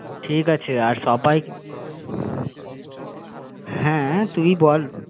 কি কি খাবে? ঠিক আছে আর সবাই কি কি খাবে? হ্যাঁ তুই বল? তোমরা একটু লিস্ট